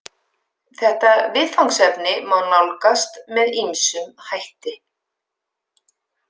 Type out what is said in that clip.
Þetta viðfangsefni má nálgast með ýmsum hætti.